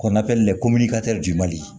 Kɔnɔfɛn le komini